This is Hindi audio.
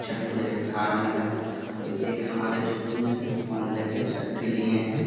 छठ पूजा के घाट में है और एक हमारे जो पुरुष हैं फ़ोन ले के सेल्फी लिए हैं।